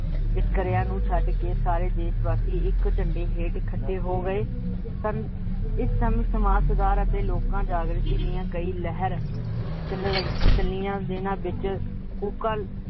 ਵਿੱਖਰਿਆ ਨੂੰ ਛੱਡ ਕੇ ਸਾਰੇ ਦੇਸ਼ਵਾਸੀ ਇੱਕ ਝੰਡੇ ਹੇਠ ਇਕਠੇ ਹੋ ਗਏ, ਇਸ ਸਮੇ ਸਮਾਜ ਸੁਧਾਰ ਤੇ ਲੋਕਾ ਜਾਗ੍ਰਿਤੀ ਦੀਆ ਕਈ ਲਹਿਰ ਚਲਿਆ, ਜਿਹਨਾਂ ਵਿੱਚ ਕੂਕਾਂ